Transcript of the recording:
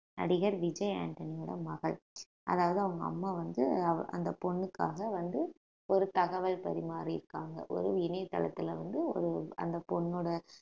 நடிகர் விஜய் ஆண்டனியோட மகள் அதாவது அவங்க அம்மா வந்து அந்த பொண்ணுக்காக வந்து ஒரு தகவல் பரிமாறி இருக்காங்க ஒரு இணையதளத்துல வந்து ஒரு அந்த பொண்ணோட